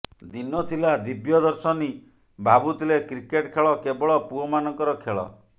ଦିନ ଥିଲା ଦିବ୍ୟ ଦର୍ଶିନୀ ଭାବୁଥିଲେ କ୍ରିକେଟ୍ ଖେଳ କେବଳ ପୁଅ ମାନଙ୍କର ଖେଳ